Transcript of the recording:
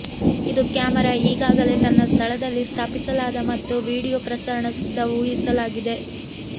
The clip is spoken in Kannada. ಇದು ಕ್ಯಾಮೆರಾ ಈಗಾಗಲೇ ತನ್ನ ಸ್ಥಳದಲ್ಲಿ ಸ್ಥಾಪಿಸಲಾದ ಮತ್ತು ವೀಡಿಯೊ ಪ್ರಸರಣ ಸಿದ್ಧ ಊಹಿಸಲಾಗಿದೆ